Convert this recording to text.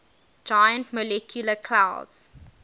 giant molecular clouds